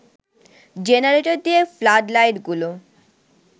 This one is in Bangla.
জেনারেটর দিয়ে ফ্লাড লাইটগুলো